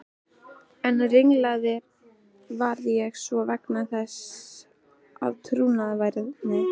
Enn ringlaðri varð ég svo vegna þess að trúnaðarvini